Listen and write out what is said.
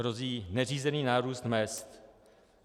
Hrozí neřízený nárůst mezd.